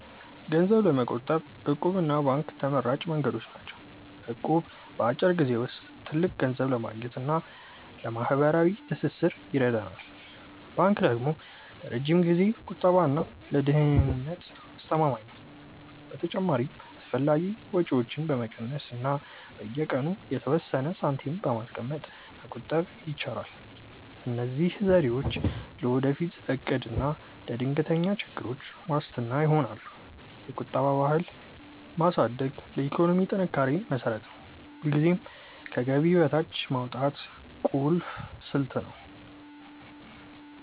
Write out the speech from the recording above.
ገንዘብ ለመቆጠብ 'እቁብ' እና ባንክ ተመራጭ መንገዶች ናቸው። እቁብ በአጭር ጊዜ ውስጥ ትልቅ ገንዘብ ለማግኘት እና ለማህበራዊ ትስስር ይረዳል። ባንክ ደግሞ ለረጅም ጊዜ ቁጠባ እና ለደህንነት አስተማማኝ ነው። በተጨማሪም አላስፈላጊ ወጪዎችን በመቀነስ እና በየቀኑ የተወሰነ ሳንቲም በማስቀመጥ መቆጠብ ይቻላል። እነዚህ ዘዴዎች ለወደፊት እቅድ እና ለድንገተኛ ችግሮች ዋስትና ይሆናሉ። የቁጠባ ባህልን ማሳደግ ለኢኮኖሚ ጥንካሬ መሰረት ነው። ሁልጊዜም ከገቢ በታች ማውጣት ቁልፍ ስልት ነው።